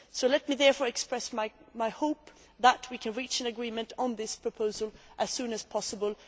Let me therefore express my hope that we can reach an agreement on this proposal as soon as possible.